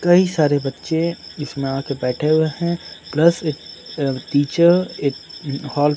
कई सारे बच्चे इसमें आके बैठे हुए हैं प्लस एक टीचर एक हॉल --